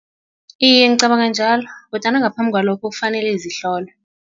Iye, ngicabanga njalo kodwana ngaphambi kwalokho kufanele zihlolwe.